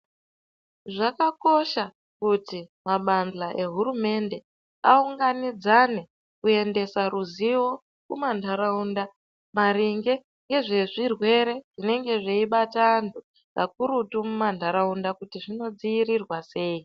Zvakakosha kuti mabadhla ehurumende, aunganidzane, kuendesa ruzivo, kumantharaunda, maringe nezvezvirwere zvinenge zveibata anthu, kakurutu muma ntharaunda, kuti zvinodziirirwa sei?